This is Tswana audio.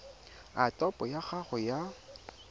a topo ya gago ya